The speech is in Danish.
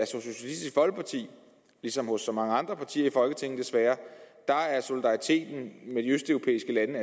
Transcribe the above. socialistisk folkeparti ligesom hos så mange andre partier i folketinget desværre er solidariteten med de østeuropæiske